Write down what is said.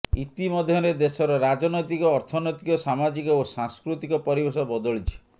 ଇତିମଧ୍ୟରେ ଦେଶର ରାଜନୈତିକ ଅର୍ଥନୈତିକ ସାମାଜିକ ଓ ସାଂସ୍କୃତିକ ପରିବେଶ ବଦଳିଛି